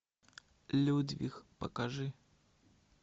людвиг покажи